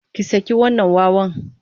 Ki saki wannan wawan!